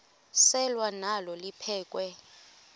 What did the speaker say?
selwa nalo liphekhwe